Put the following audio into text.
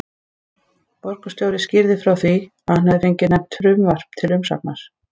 Borgarstjóri skýrði frá því, að hann hefði fengið nefnt frumvarp til umsagnar.